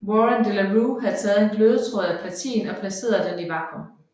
Warren de la Rue havde taget en glødetråd af platin og placeret den i vakuum